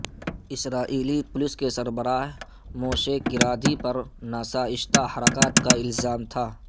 اسرائیلی police کے سربراہ Moshe Karadi پر ناشائستہ حرکات کا الزام تھا